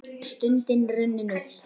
Stundin runnin upp!